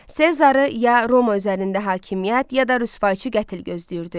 Sezarı ya Roma üzərində hakimiyyət ya da rüsvayçı qətl gözləyirdi.